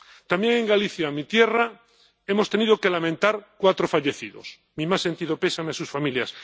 También en Galicia, mi tierra, hemos tenido que lamentar cuatro fallecidos mi más sentido pésame a sus familias.